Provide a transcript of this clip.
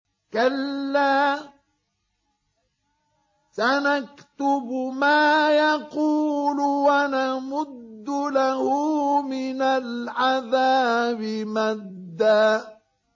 كَلَّا ۚ سَنَكْتُبُ مَا يَقُولُ وَنَمُدُّ لَهُ مِنَ الْعَذَابِ مَدًّا